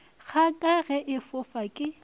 kgaka ge e fofa ke